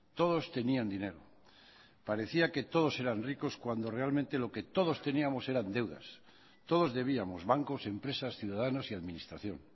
todos tenían dinero parecía que todos eran ricos cuando realmente lo que todos teníamos eran deudas todos debíamos bancos empresas ciudadanos y administración